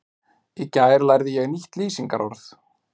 Í gær lærði ég nýtt lýsingarorð.